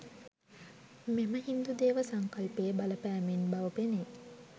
මෙම හින්දු දේව සංකල්පයේ බලපෑමෙන් බව පෙනේ.